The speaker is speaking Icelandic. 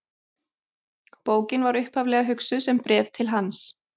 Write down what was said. Bókin var upphaflega hugsuð sem bréf til hans.